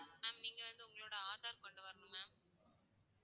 ma'am நீங்க வந்து உங்களோட ஆதார் கொண்டு வரணும் ma'am